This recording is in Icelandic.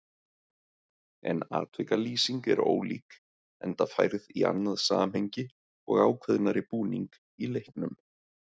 En atvikalýsing er ólík, enda færð í annað samhengi og ákveðnari búning í leiknum.